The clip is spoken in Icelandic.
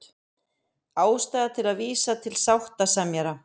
Ástæða til að vísa til sáttasemjara